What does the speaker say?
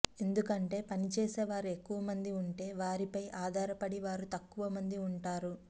ఎందుకంటే పనిచేసే వారు ఎక్కువమంది ఉంటే వారిపై ఆధారపడే వారు తక్కువ మంది ఉంటారు